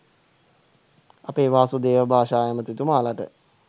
අපේ වාසුදේව භාෂා ඇමතිතුමාලට